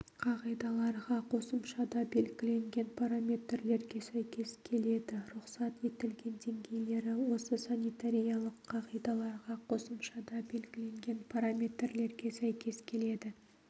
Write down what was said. қағидаларға қосымшада белгіленген параметрлерге сәйкес келеді рұқсат етілген деңгейлері осы санитариялық қағидаларға қосымшада белгіленген параметрлерге сәйкес келеді